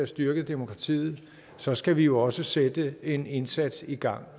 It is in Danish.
styrket demokratiet så skal vi jo også sætte en indsats i gang